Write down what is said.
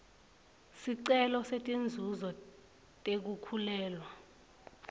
sicelo setinzuzo tekukhulelwa